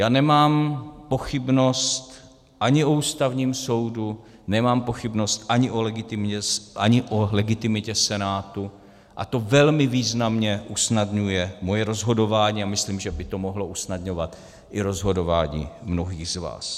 Já nemám pochybnost ani o Ústavním soudu, nemám pochybnost ani o legitimitě Senátu a to velmi významně usnadňuje moje rozhodování a myslím, že by to mohlo usnadňovat i rozhodování mnohých z vás.